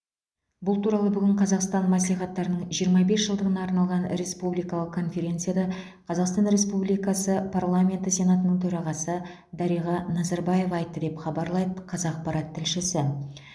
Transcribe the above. бұл туралы бүгін қазақстан мәслихаттарының жиырма бес жылдығына арналған республикалық конференцияда қазақстан республикасы парламенті сенатының төрағасы дариға назарбаева айтты деп хабарлайды қазақпарат тілшісі